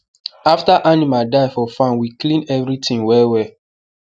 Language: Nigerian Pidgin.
after animal die for farm we clean everything well well